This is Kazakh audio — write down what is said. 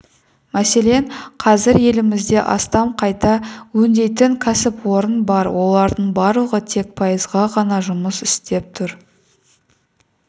мәселен қазір елімізде астам қайта өңдейтін кәсіпорын бар олардың барлығы тек пайызға ғана жұмыс істеп тұр